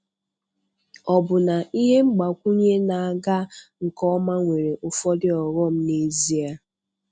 Ọbụna ihe mgbakwunye na-aga nke ọma nwere ụfọdụ ọghọm, n'ezie?